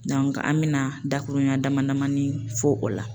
an bɛna dakuruɲa damani damani fɔ o la.